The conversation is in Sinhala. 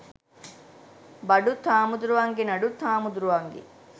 බඩුත් හාමුදුරුවන්ගේ නඩුත් හාමුදුරුවන්ගේ